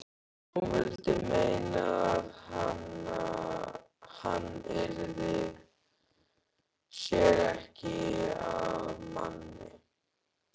Hún vildi meina að hann yrði sér ekki að manni.